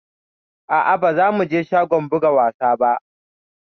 Aa ba za mu je shagon buga wasa ba